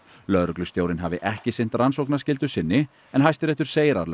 lögreglustjórinn hafi ekki sinnt rannsóknarskyldu sinni en Hæstiréttur segir að